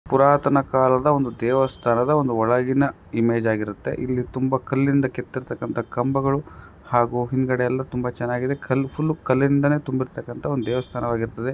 ಪುರಾತನ ಕಾಲದ ಒಂದು ದೇವಸ್ಥಾನದ ಒಂದು ಒಳಗಿನ ಇಮೇಜ್ ಆಗಿರುತ್ತೆ ಇಲ್ಲಿ ತುಂಬಾ ಕಲ್ಲಿಂದ ಕೆತ್ತಿರ್ತಕ್ಕಂತ ಕಂಬಗಳು ಹಾಗೂ ಹಿಂದುಗಡೆ ಎಲ್ಲಾ ತುಂಬಾ ಚೆನ್ನಾಗಿ ಕಲ್ಲು ಫುಲ್ ಕಲ್ಲಿಂದ ತುಂಬಿರತಕ್ಕಂತ ಒಂದು ದೇವಸ್ಥಾನವಾಗಿರುತ್ತದೆ.